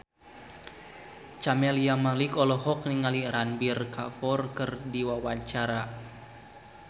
Camelia Malik olohok ningali Ranbir Kapoor keur diwawancara